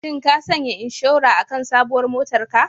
Shin ka sanya inshora akan sabuwar motar ka?